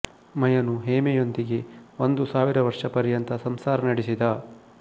ಮಯನು ಹೇಮೆಯೊಂದಿಗೆ ಒಂದು ಸಾವಿರ ವರ್ಷ ಪರ್ಯಂತ ಸಂಸಾರ ನಡೆಸಿದ